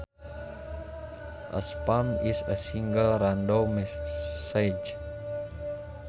A spam is a single random message